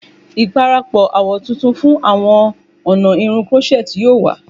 Iparapọ awọ tuntun fun awọn ọna irun crochet yoo wa